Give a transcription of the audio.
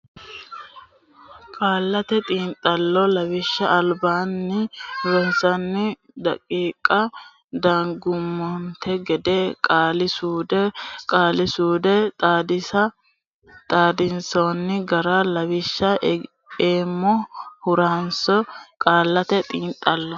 Qaallate Xiinxallo Lawishsha albinkunni ronsanni daqiiqa dangummonte gede qaali suude Qaali suude Xaadisa xaadinsanni gara lawishsha eemmo ha runse e Qaallate Xiinxallo.